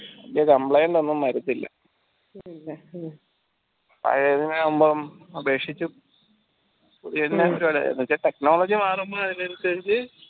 ഇത് complaint ഒന്നും വരത്തില്ല പഴേതിനാവുമ്പം അപേക്ഷിച്ചും ഇതിൻറെ technology മാറുന്നതിനനുസരിച്ച്